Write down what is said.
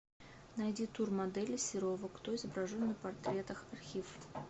найди тур модели серова кто изображен на портретах архив